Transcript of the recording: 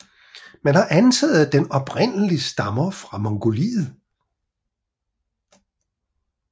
Man har antaget at den oprindeligt stammer fra Mongoliet